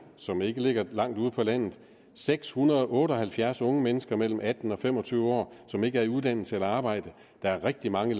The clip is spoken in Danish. som ikke ligger langt ude på landet seks hundrede og otte og halvfjerds unge mennesker mellem atten og fem og tyve år som ikke er i uddannelse eller arbejde der er rigtig mange